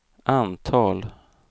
antal